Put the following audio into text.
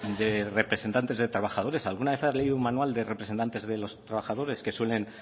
de representantes de trabajadores alguna vez ha leído un manual de representantes de los trabajadores que suelen